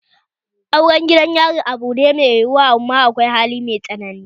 Auren gidan yari abu ne mai yiyuwa amma akwai hani mai tsanani